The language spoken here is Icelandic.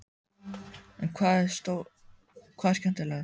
En hvað er skemmtilegast?